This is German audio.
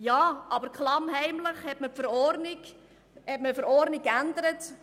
Aber klammheimlich hat man die Verordnung geändert.